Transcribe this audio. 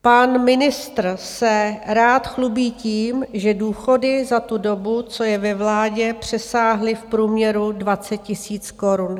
Pan ministr se rád chlubí tím, že důchody za tu dobu, co je ve vládě, přesáhly v průměru 20 000 korun.